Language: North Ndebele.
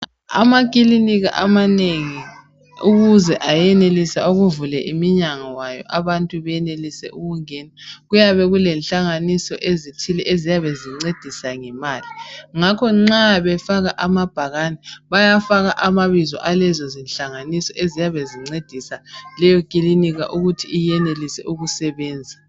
Amakilinika amanengi ukuze ayenelise ukuvula iminyango yawo abantu benelise ukungena kuyabe kulehlanganiso ezithile eziyabe zincedisa ngemali ngakho nxa befaka amabhakane bayafaka amabizo alezozihlanganiso eziyabe zincedisa leyo kilinika ukuthi iyenelise ukusebenza.